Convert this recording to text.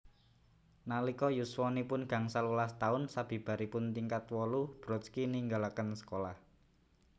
Nalika yuswanipun gangsal welas taun sabibaripun tingkat wolu Brodsky ninggalaken sekolah